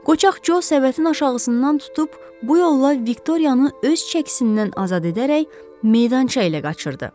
Qocaq Co səbətinin aşağısından tutub bu yolla Viktoriyanı öz çəkisindən azad edərək meydançaya qaçırdı.